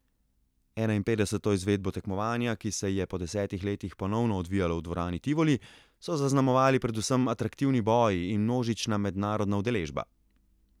Enainpetdeseto izvedbo tekmovanja, ki se je po desetih letih ponovno odvijalo v dvorani Tivoli, so zaznamovali predvsem atraktivni boji in množična mednarodna udeležba.